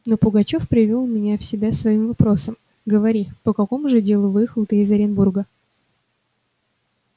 но пугачёв привёл меня в себя своим вопросом говори по какому же делу выехал ты из оренбурга